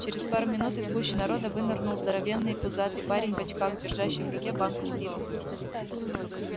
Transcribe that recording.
через пару минут из гущи народа вынырнул здоровенный пузатый парень в очках держащий в руке банку с пивом